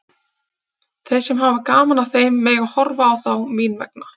Þeir sem hafa gaman af þeim mega horfa á þá mín vegna.